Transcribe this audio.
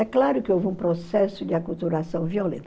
É claro que houve um processo de aculturação violenta.